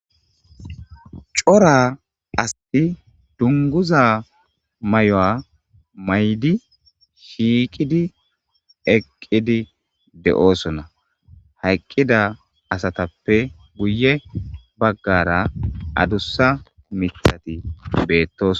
cora asti dunguza may7o7a maydi shiiqidi eqqidi de7oosona hayqqida asatappe guye baggara adussa mithati beettos